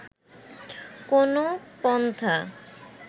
কোনো পন্থা